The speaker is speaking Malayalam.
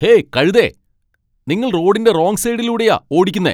ഹേയ്, കഴുതേ. നിങ്ങൾ റോഡിന്റെ റോങ് സൈഡിലൂടെയാ ഓടിക്കുന്നെ.